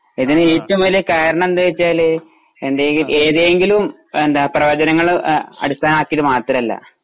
ഇതിൽ ഏറ്റവ്വും വലിയ കാരണം എന്താണ് വെച്ചാല് ഏത് എന്തെങ്കിലും എന്താ പ്രവചനങ്ങളും ആ അടിസ്ഥാനമാക്കിട്ട് മാത്രമല്ല